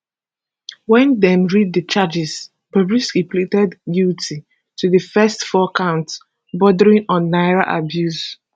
wen dem read di charges bobrisky pleaded guilty to di first four counts bordering on naira abuse